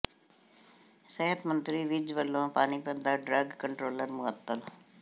ਸਿਹਤ ਮੰਤਰੀ ਵਿੱਜ ਵੱਲੋਂ ਪਾਣੀਪਤ ਦਾ ਡਰੱਗ ਕੰਟਰੋਲਰ ਮੁਅੱਤਲ